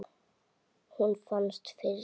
Hún fannst fyrst.